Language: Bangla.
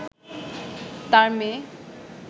তার মেয়ে